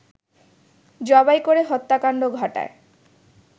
জবাই করে হত্যাকাণ্ড ঘটায়